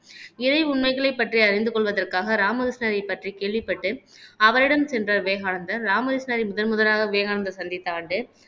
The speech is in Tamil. இறை உண்மைகளைப் பற்றி அறிந்து கொள்வதற்காக ராமகிருஷ்ணனைப் பற்றி கேள்விப்பட்டு அவரிடம் சென்ற விவேகானந்தர் ராமகிருஷ்ணாவை முதன்முதலாக விவேகானந்தர் சந்தித்த ஆண்டு